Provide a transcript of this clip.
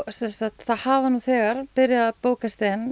það hafa nú þegar bókast inn